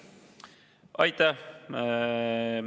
Aitäh!